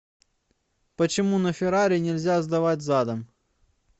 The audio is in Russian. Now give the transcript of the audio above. почему на феррари нельзя сдавать задом